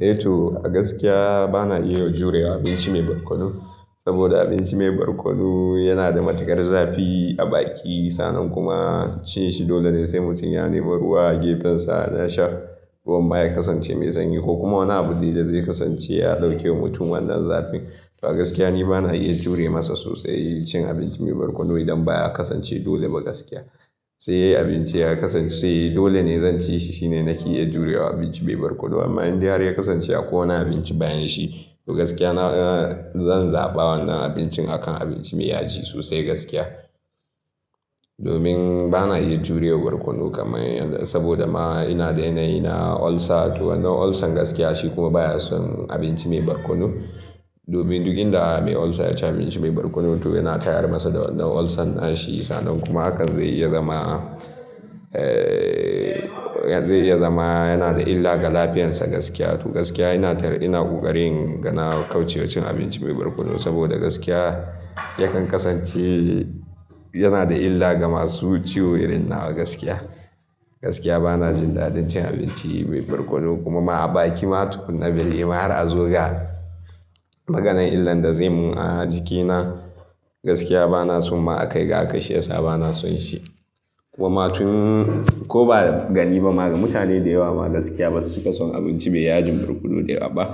Eh to a gaskiya bana iya jurewa abinci mai barkono. Saboda abinci mai barkono yana da matukar zafi a baki, sannan kuma cin shi dole ne sai mutum ya nemi ruwa a gefensa na sha. Ruwan baya kasance mai sanyi ko kuma wani abu dai da zai kasance ya ɗauke wa mutum wannan zafin. To a gaskiya ni bana iya jure masa sosai cin abinci mai barkono idan baya kasance dole ba gaskiya. Sai abinci ya kasance dole ne zan ci shi, shine nake iya jurewa abinci mai barkono. Amma in dai har ya kasance akwai wani abinci bayan shi, to gaskiya na-- zan zaɓa wannan abincin a kan abinci mai yaji sosai gaskiya. Domin bana iya jurewa barkono kamar yadda, saboda ma ina da yanayi na ulcer to wannan ulcer gaskiya shi kuma baya son abinci mai barkono. Domin duk inda mai ulcer ya ci abinci mai barkono to yana tayar masa da wannan ulcer nashi sannan kuma hakan zai iya zama, zai iya zama yana da illa ga lafiyansa gaskiya. To gaskiya ina tar ina ƙoƙarin gana kauce wa cin abinci mai barkono saboda gaskiya yakan kasance yana da illa ga masu ciwo irin nawa gaskiya. Gaskiya bana jin daɗin cin abinci mai barkono kuma ma a baki ma tukunna bai yi ma har a zo ga maganan illan da zai mun a jikina gaskiya bana son ma a kai ga aka shirya sa bana son shi. Kuma tun-- ko ba da gani ba ma ga mutane da yawa ma gaskiya ba su ke son abinci mai yajin barkono da yawa ba.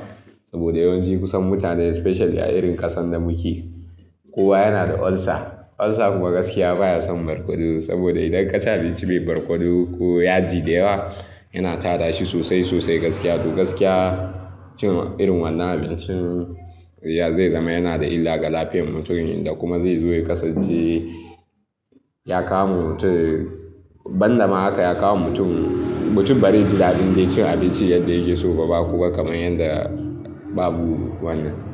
Saboda yawanci kusan mutane especial a irin ƙasan da muke kowa yana da ulcer. Ulcer kuma gaskiya baya son barkono saboda idan ka ci abinci mai barkono ko yaji da yawa yana tada shi sosai sosai gaskiya. To gaskiya cin irin wannan abincin ya zai zama yana da illa ga lafiyar mutum inda kuma zai zo ya kasance, ya kama mutum. Ban da ma haka ya kama mutum, mutum bari ji daɗin zai ci abinci yadda yake so ba ba. Kuma kamar yadda babu wannan.